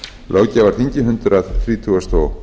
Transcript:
löggjafarþingi hundrað þrítugasta og